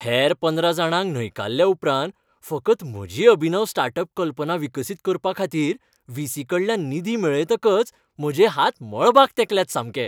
हेर पंदरा जाणांक न्हयकारल्या उपरांत फकत म्हजी अभिनव स्टार्ट अप कल्पना विकसीत करपाखातीर व्ही. सी.कडल्यान निधी मेळयतकच म्हजे हात मळबाक तेंकल्यात सामके.